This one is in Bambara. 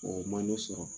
O man di sɔrɔ